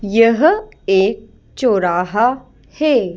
यहएक चौराहा है।